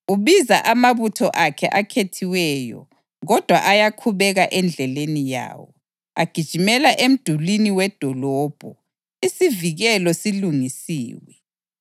Ubiza amabutho akhe akhethiweyo kodwa ayakhubeka endleleni yawo. Agijimela emdulini wedolobho; isivikelo silungiswe.